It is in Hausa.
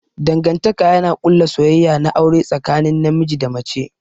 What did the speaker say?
Dangantaka yana ƙulla soyayya na aure tsakanin namiji da mace.